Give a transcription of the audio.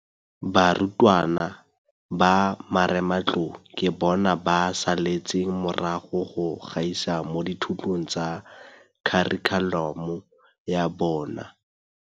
Barutwana ba Marematlou ke bona ba saletseng morago go gaisa mo dithutong tsa kharikhulamo ya bona.